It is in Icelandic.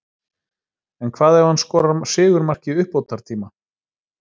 En hvað ef hann skorar sigurmark í uppbótartíma?